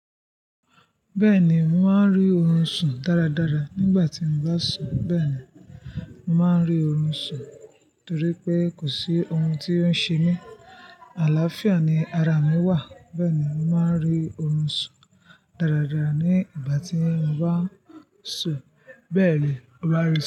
Bẹ́ẹ̀ni, mo máa ń rí ohun sùn dáradára nígbà tí mo bá sùn. Bẹ́ẹ̀ ni, màá rí ohun sùn torí pé kò sí ohun tí ó ń ṣe mí. Àlàáfíà ni ara mi wà. Bẹ́ẹ̀ ni, màá rí ohun sùn dáradára nígbà tí mo bá sùn. Bẹ́ẹ̀ ni, ó bá rí.